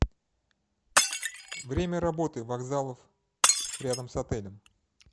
время работы вокзалов рядом с отелем